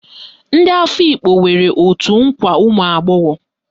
Ndị Afikpo nwere òtù nkwa ụmụagbọghọ